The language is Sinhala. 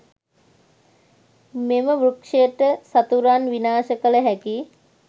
මෙම වෘක්ෂයට සතුරන් විනාශ කළ හැකි